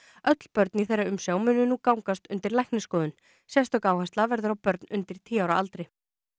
öll börn í þeirra umsjá munu nú gangast undir læknisskoðun sérstök áhersla verður á börn undir tíu ára aldri